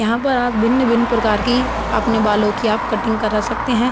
यहाँ पर आप भिन्न-भिन्न प्रकार की अपने बालों की आप कटिंग करा सकते हैं।